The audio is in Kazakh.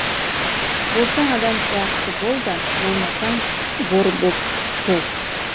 болсаң адам сияқты бол да болмасаң бор боп тоз